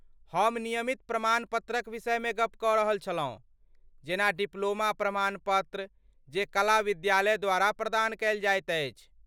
हम नियमित प्रमाणपत्रक विषयमे गप कऽ रहल छलहुँ, जेना डिप्लोमा प्रमाणपत्र जे कला विद्यालय द्वारा प्रदान कयल जाइत अछि।